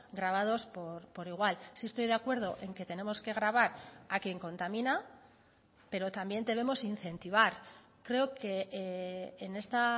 grabados por igual sí estoy de acuerdo en que tenemos que gravar a quién contamina pero también debemos incentivar creo que en esta